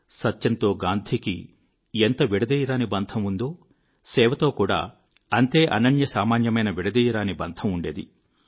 సత్యంతో గాంధీకి ఎంత విడదీయరాని బంధం ఉండిందో సేవతో కూడా అంతే అనన్యసామాన్యమైన విడదీయరాని బంధం ఉండేది